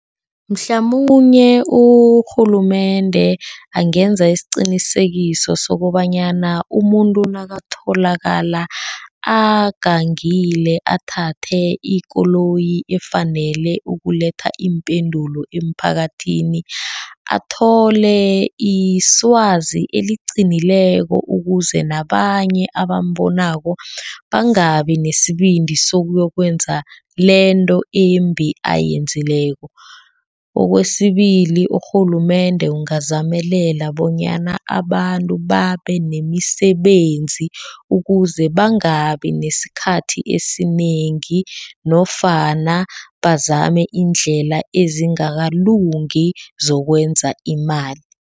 Mhlamunye urhulumende angenza isiqinisekiso sokobanyana umuntu nakutholakala agangile. Athathe ikoloyi efanele ukuletha iimpendulo emphakathini, athole iswazi eliqinileko. Ukuze nabanye abambonako bangabi nesibindi sokuyokwenza lento embi ayenzileko. Okwesibili urhulumende ungazamelela bonyana abantu babe nemisebenzi. Ukuze bangabi nesikhathi esinengi nofana bazame indlela ezingakalungi zokwenza imali.